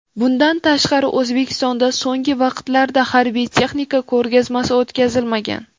Bundan tashqari, O‘zbekistonda so‘nggi vaqtlarda harbiy texnika ko‘rgazmasi o‘tkazilmagan.